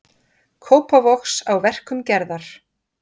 Kópavogs á verkum Gerðar.